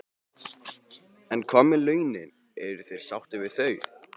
En hvað með launin, eru þeir sáttir við þau?